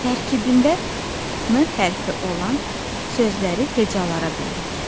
Tərkibində N hərfi olan sözləri hecalara bölək.